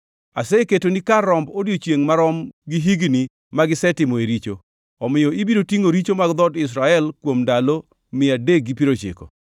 Aseketoni kar romb odiechiengʼ marom gi higni magisetimoe richo. Omiyo ibiro tingʼo richo mag dhood Israel kuom ndalo 390.